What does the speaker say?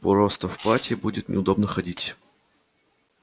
просто в платье будет неудобно ходить